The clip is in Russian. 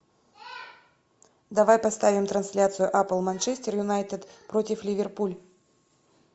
давай поставим трансляцию апл манчестер юнайтед против ливерпуль